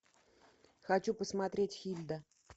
хочу посмотреть хильда